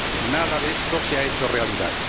Nada de esto se ha hecho realidad.